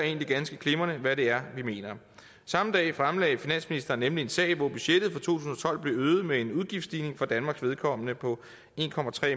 ganske glimrende hvad det er vi mener samme dag fremlagde finansministeren nemlig en sag hvor budgettet for to tusind og tolv blev øget med en udgiftsstigning for danmarks vedkommende på en